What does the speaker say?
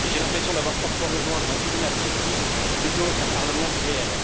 J'ai l'impression d'avoir parfois rejoint un tribunal fictif, plutôt qu'un parlement réel.